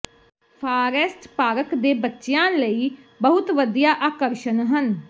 forest park ਦੇ ਬੱਚਿਆਂ ਲਈ ਬਹੁਤ ਵਧੀਆ ਆਕਰਸ਼ਣ ਹਨ